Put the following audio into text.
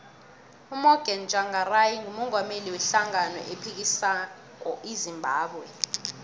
umorgan tshangari ngumungameli we hlangano ephikisako ezimbabwe